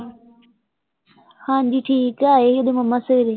ਹਾਂਜੀ, ਠੀਕ ਹੈ, ਆਏ ਸੀ ਓਹਦੇ ਮੰਮਾ ਸਵੇਰੇ